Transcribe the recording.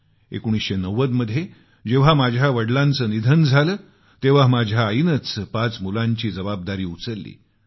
1990 मध्ये जेव्हा माझ्या वडलांचे निधन झाले तेव्हा माझ्या आईनेच पाच मुलांची जबाबदारी उचलली